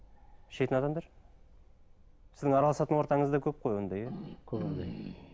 ішетін адамдар сіздің араласатын ортаңызда көп қой ондай иә көп ондай